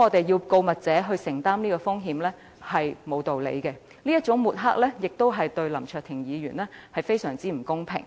要告密者承擔這種風險，實在毫無道理，這種抹黑亦對林卓廷議員非常不公平。